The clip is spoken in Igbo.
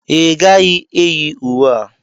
Ị gaghị eyi uwe a!